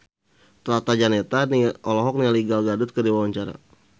Tata Janeta olohok ningali Gal Gadot keur diwawancara